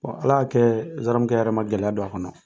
Ala y'a kɛ zanaramukɛ yɛrɛ ma gɛlɛya don a kɔnɔ.